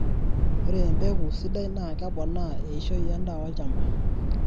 Ore empeku sidai naa kepoona eishoi endaa olchamba .